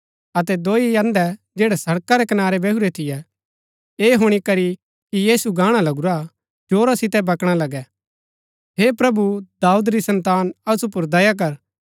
अतै दोई अन्धै जैड़ै सड़का रै कनारै बैहुरै थियै ऐह हुणी करी कि यीशु गाणा लगुरा जोरा सितै बकणा लगै हे प्रभु दाऊद री सन्तान असु पुर दया कर